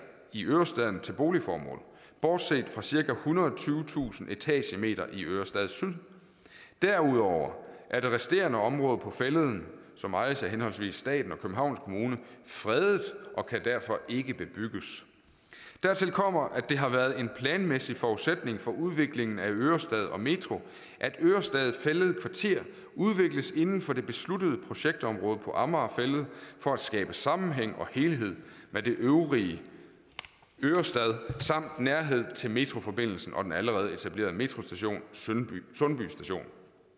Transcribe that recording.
i ørestaden til boligformål bortset fra cirka ethundrede og tyvetusind etagemeter i ørestad syd derudover er det resterende område på fælleden som ejes af henholdsvis staten og københavns kommune fredet og kan derfor ikke bebygges dertil kommer at det har været en planmæssig forudsætning for udviklingen af ørestaden og metroen at ørestad fælled kvarter udvikles inden for det besluttede projektområde på amager fælled for at skabe sammenhæng og helhed med den øvrige ørestad samt nærhed til metroforbindelsen og den allerede etablerede metrostation sundby station